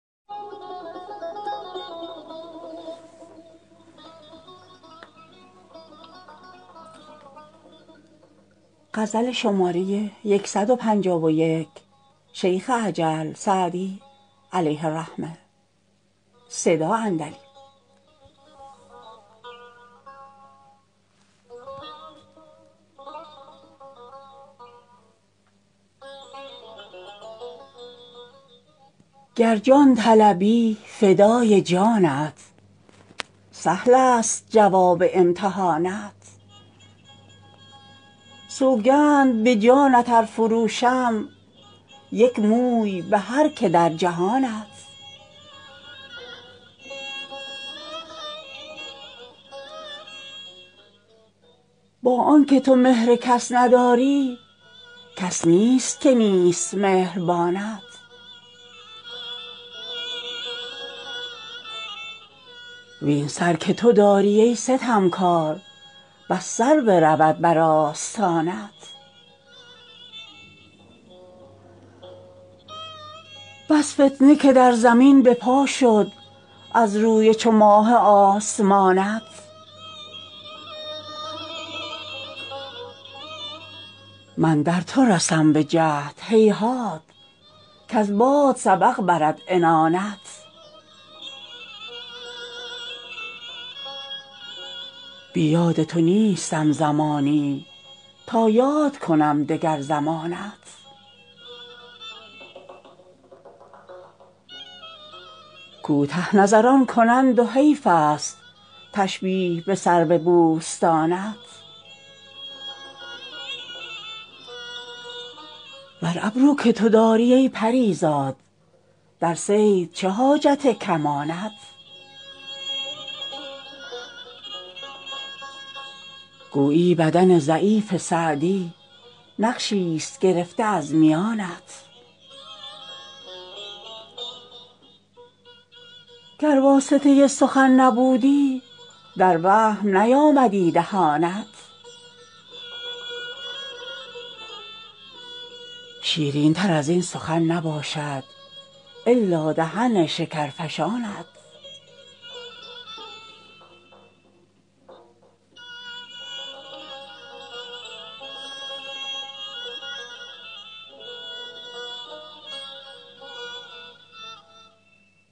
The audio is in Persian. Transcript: گر جان طلبی فدای جانت سهلست جواب امتحانت سوگند به جانت ار فروشم یک موی به هر که در جهانت با آن که تو مهر کس نداری کس نیست که نیست مهربانت وین سر که تو داری ای ستمکار بس سر برود بر آستانت بس فتنه که در زمین به پا شد از روی چو ماه آسمانت من در تو رسم به جهد هیهات کز باد سبق برد عنانت بی یاد تو نیستم زمانی تا یاد کنم دگر زمانت کوته نظران کنند و حیفست تشبیه به سرو بوستانت و ابرو که تو داری ای پری زاد در صید چه حاجت کمانت گویی بدن ضعیف سعدی نقشیست گرفته از میانت گر واسطه سخن نبودی در وهم نیامدی دهانت شیرینتر از این سخن نباشد الا دهن شکرفشانت